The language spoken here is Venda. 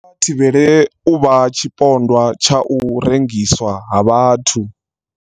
Kha vha thivhele u vha tshi pondwa tsha u rengiswa ha vhathu.